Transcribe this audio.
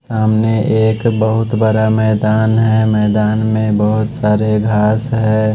सामने एक बहुत बड़ा मैदान है मैदान में बहुत सारे घास है।